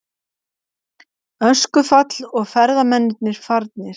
Öskufall og ferðamennirnir farnir